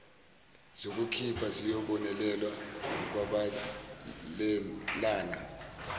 zokuphila ziyobonelelwa ngokwabelana